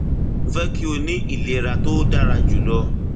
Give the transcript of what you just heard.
mo fẹ kí o ní ìlera tó dára jù lọ